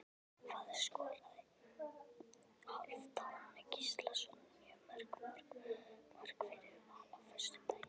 Hvað skoraði Hálfdán Gíslason mörg mörk fyrir Val á föstudaginn?